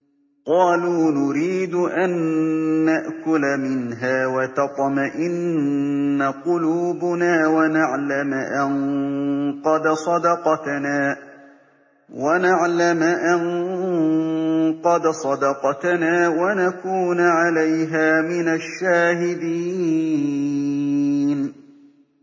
قَالُوا نُرِيدُ أَن نَّأْكُلَ مِنْهَا وَتَطْمَئِنَّ قُلُوبُنَا وَنَعْلَمَ أَن قَدْ صَدَقْتَنَا وَنَكُونَ عَلَيْهَا مِنَ الشَّاهِدِينَ